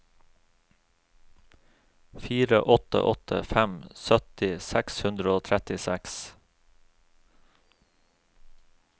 fire åtte åtte fem sytti seks hundre og trettiseks